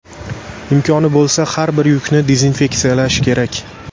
Imkoni bo‘lsa, har bir yukni dezinfeksiyalash kerak.